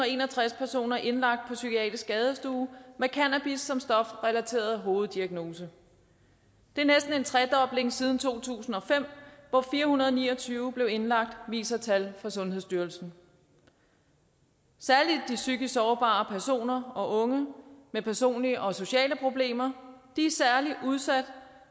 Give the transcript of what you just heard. en og tres personer indlagt psykiatrisk skadestue med cannabis som stofrelateret hoveddiagnose det er næsten en tredobling siden to tusind og fem hvor fire hundrede og ni og tyve blev indlagt viser tal fra sundhedsstyrelsen særlig de psykisk sårbare personer og unge med personlige og sociale problemer er udsat her